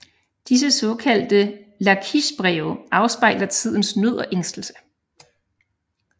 Disse såkaldte Lakisjbreve afspejler tidens nød og ængstelse